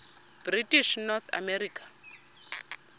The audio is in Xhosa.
british north america